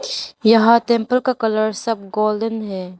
यहां टेंपल का कलर सब गोल्डन है।